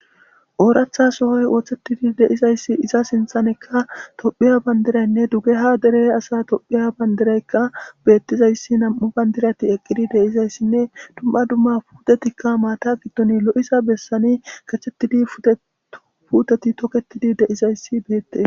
Ooratha sohoy ooththettidi deizayssi iza sinthanekka tophiya bandiraynne dugeha dere asa tophiya bandiraykka beettizayssi nam'u bandirati eqqidi deizayssinne dumma dumma puutetikka maata giddon lo'isa bessani kachettidi puteti toketidi deizayssi beette.